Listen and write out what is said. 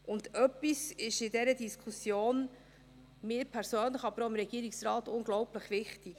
Und etwas ist in dieser Diskussion mir persönlich, aber auch dem Regierungsrat unglaublich wichtig: